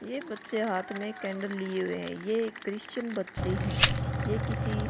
ये बच्चे हाथ में कैंडल लिए हुए है ये क्रिश्चियन बच्चे है ये किसी --